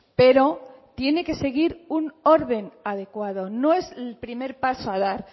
pero tiene que seguir un orden adecuado no es el primer paso a dar